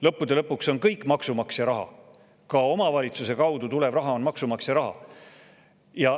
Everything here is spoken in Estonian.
Lõppude lõpuks on kõik maksumaksja raha, ka omavalitsuse kaudu tulev raha on maksumaksja raha.